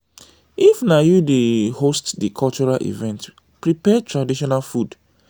if na you dey host di cultural event prepare traditional food